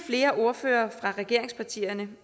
flere ordførere fra regeringspartierne